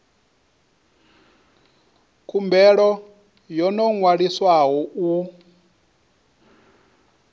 khumbelo yo no ṅwaliswaho u